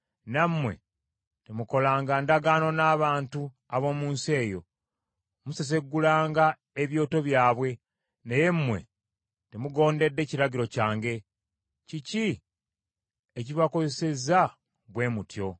nammwe temukolanga ndagaano n’abantu ab’omu nsi eyo: museseggulanga ebyoto byabwe.’ Naye mmwe temugondedde kiragiro kyange: Kiki ekibakozesezza bwe mutyo?